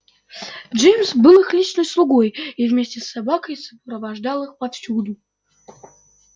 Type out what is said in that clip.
джимс был их личным слугой и вместе с собаками сопровождал их повсюду